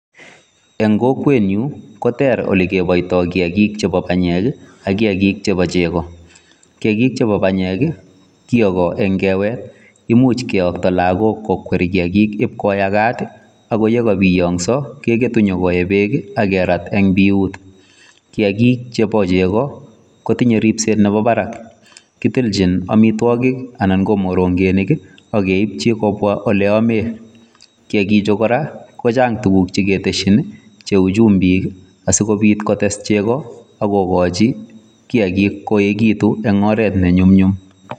En kokwenyun koter ole keboitokiyagik chebo banyek ak kiyagik chebo chego. Kiyagik chebo banyek kiyogo en kewe, imuch kiyokto lagok kokwer kiyagik ibkoyagak, ago ye kobiyoso kegetu nyokoe beek ak kerat en biuut. Kiyagik chebochego kotinye ripset nebo barak. Kitilchin amitwogik anan ko morongenik ak keiipchi kobwa ole amen. Kiyagichu kora kochang' tuguk che keteshin cheu chumbik asikobit kotes chego ak kogochi kiyakik koegitu en oret ne nyumnyum.